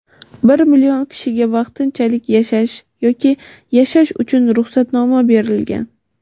bir million kishiga vaqtinchalik yashash yoki yashash uchun ruxsatnoma berilgan.